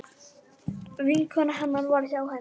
Vinkona hennar var hjá henni.